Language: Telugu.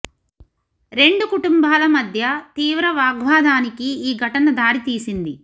రెండు కుటుంబాల మధ్య తీవ్ర వాగ్వాదానికి ఈ ఘటన దారి తీసింది